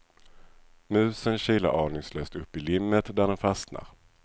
Musen kilar aningslöst upp i limmet där den fastnar.